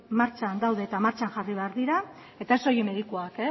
martxan daude eta martxan jarri behar dira eta ez soilik medikuak